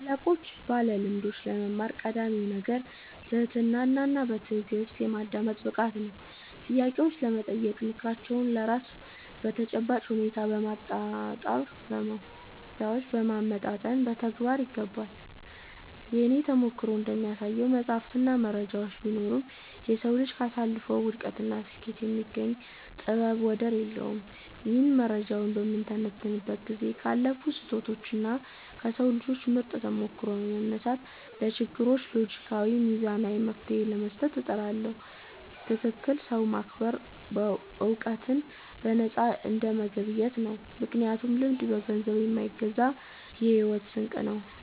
ከታላላቆችና ባለልምዶች ለመማር ቀዳሚው ነገር ትህትናና በትዕግሥት የማዳመጥ ብቃት ነው። ጥያቄዎችን በመጠየቅና ምክራቸውን ለራስ ተጨባጭ ሁኔታ በማመጣጠን መተግበር ይገባል። የእኔ ተሞክሮ እንደሚያሳየው፣ መጻሕፍትና መረጃዎች ቢኖሩም፣ የሰው ልጅ ካሳለፈው ውድቀትና ስኬት የሚገኝ ጥበብ ወደር የለውም። እኔም መረጃዎችን በምተነትንበት ጊዜ ካለፉ ስህተቶችና ከሰው ልጆች ምርጥ ተሞክሮዎች በመነሳት፣ ለችግሮች ሎጂካዊና ሚዛናዊ መፍትሔ ለመስጠት እጥራለሁ። ትልቅን ሰው ማክበር ዕውቀትን በነፃ እንደመገብየት ነው፤ ምክንያቱም ልምድ በገንዘብ የማይገዛ የሕይወት ስንቅ ነው።